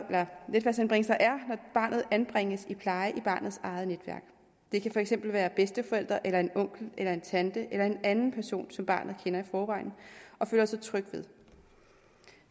barnet anbringes i pleje i barnets eget netværk det kan for eksempel være bedsteforældre eller en onkel eller en tante eller en anden person som barnet kender i forvejen og føler sig tryg ved